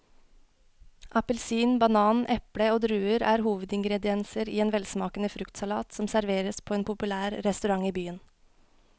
Appelsin, banan, eple og druer er hovedingredienser i en velsmakende fruktsalat som serveres på en populær restaurant i byen.